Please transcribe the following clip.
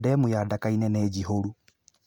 Demu ya Ndaka-inĩ nĩ njihũru